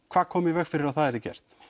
hvað kom í veg fyrir að það yrði gert